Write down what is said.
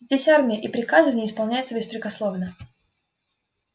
здесь армия и приказы в ней исполняются беспрекословно